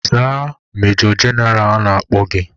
Zaa majọ jeneral na-akpọ gị!